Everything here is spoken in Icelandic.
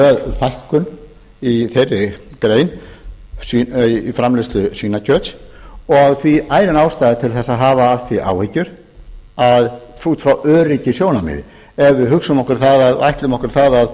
fækkun í þeirri grein í framleiðslu svínakjöts og því ærin ástæða til þess að hafa af því áhyggjur út frá öryggissjónarmiði ef við hugsum okkur það ætlum okkur það